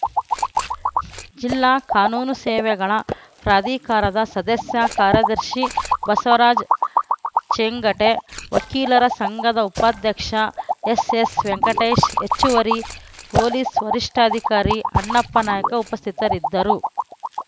ಜಿಲ್ಲಾ ಕಾನೂನು ಸೇವೆಗಳ ಪ್ರಾಧಿಕಾರದ ಸದಸ್ಯ ಕಾರ್ಯದರ್ಶಿ ಬಸವರಾಜ ಚೇಂಗಟಿ ವಕೀಲರ ಸಂಘದ ಉಪಾಧ್ಯಕ್ಷ ಎಸ್‌ಎಸ್‌ವೆಂಕಟೇಶ್‌ ಹೆಚ್ಚುವರಿ ಪೊಲೀಸ್‌ ವರಿಷ್ಠಾಧಿಕಾರಿ ಅಣ್ಣಪ್ಪನಾಯ್ಕ ಉಪಸ್ಥಿತರಿದ್ದರು